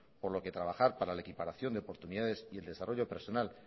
por lo que trabajar para la equiparación de oportunidades y el desarrollo personal